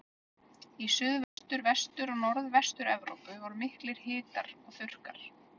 Í Suðvestur-, Vestur- og Norðvestur-Evrópu voru miklir hitar og þurrkar.